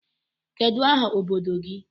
Kedụ aha obodo gị?